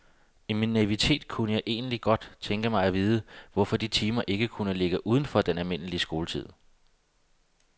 I min naivitet kunne jeg egentlig godt tænke mig at vide, hvorfor de timer ikke kunne ligge uden for den almindelige skoletid.